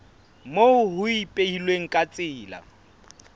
moo ho ipehilweng ka tsela